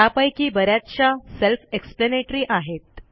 त्यापैकी ब याचशा सेल्फ एक्सप्लॅनेटरी आहेत